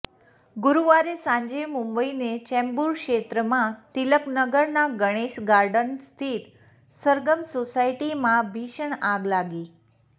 ગુરૂવારે સાંજે મુંબઈને ચેંબૂર ક્ષેત્રમાં તિલક નગરના ગણેશ ગાર્ડન સ્થિત સરગમ સોસાયટીમાં ભીષણ આગ લાગી